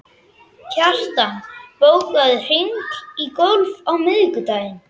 Ekki varð það til þess að herða kjarkinn.